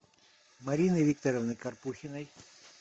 марины викторовны карпухиной